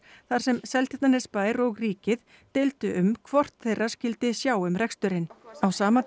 þar sem Seltjarnarnesbær og ríkið deildu um hvort þeirra skyldi sjá um reksturinn á sama